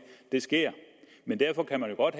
det sker derfor kan man jo godt